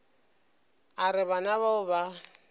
a re bana bao ba